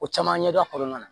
O caman ɲɛdɔn a kɔnɔna na